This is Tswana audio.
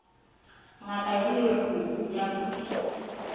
ngaka ya leruo ya puso